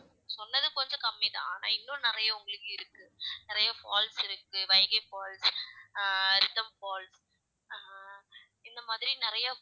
சொன்னது கொஞ்சம் கம்மிதான் ஆனா இன்னும் நிறைய உங்களுக்கு இருக்கு நிறைய falls இருக்கு வைகை falls ஆஹ் ரிதம் falls ஆஹ் இந்த மாதிரி நிறைய